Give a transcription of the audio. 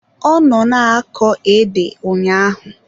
Ọ nọ na-akọ ede ụnyaahụ